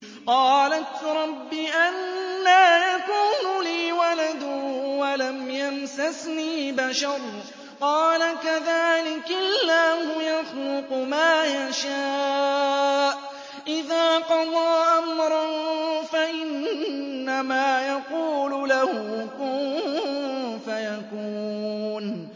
قَالَتْ رَبِّ أَنَّىٰ يَكُونُ لِي وَلَدٌ وَلَمْ يَمْسَسْنِي بَشَرٌ ۖ قَالَ كَذَٰلِكِ اللَّهُ يَخْلُقُ مَا يَشَاءُ ۚ إِذَا قَضَىٰ أَمْرًا فَإِنَّمَا يَقُولُ لَهُ كُن فَيَكُونُ